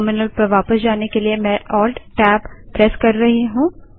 terminal पर वापस जाने के लिए मैं ALT Tab Alt Tab press कर रही हूँ